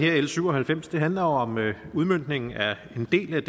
her l syv og halvfems handler om udmøntningen af en del af